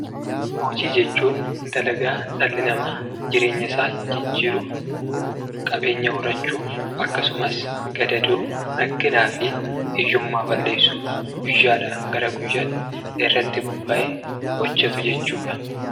Hojii jechuun dalagaa dhalli namaa jireenya isaa jijjiiruuf, qabeenya horachuuf akkasumas gadadoo, rakkinaafi hiyyummaa balleessuuf guyyaadhaa gara guyyaatti irratti bobba'ee hojjetu jechuudha.